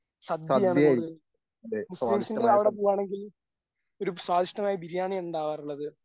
സദ്യയാണ് കൂടുതൽ. മുസ്ലീംസിൻ്റെ അവിടെ പോവുകയാണെങ്കിൽ ഒരു സ്വാദിഷ്ടമായ ബിരിയാണിയാണ് ഉണ്ടാവാറുള്ളത്.